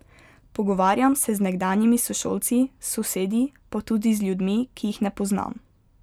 Pogovarjam se z nekdanjimi sošolci, sosedi, pa tudi z ljudmi, ki jih ne poznam.